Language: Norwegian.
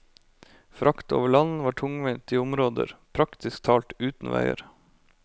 Frakt over land var tungvint i områder praktisk talt uten veier.